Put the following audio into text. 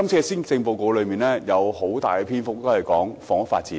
施政報告花了很大篇幅處理房屋發展。